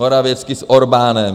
Morawiecki s Orbánem.